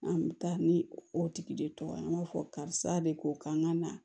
An bɛ taa ni o tigi de tɔgɔ ye an b'a fɔ karisa de ko k'an ka na